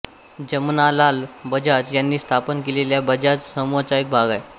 जमनालाल बजाज यांनी स्थापन केलेल्या बजाज समूहाचा हा भाग आहे